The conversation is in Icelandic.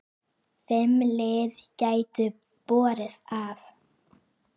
Fimm lið gætu borið af.